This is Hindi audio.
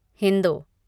हिंदों